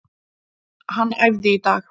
Hann æfði í dag.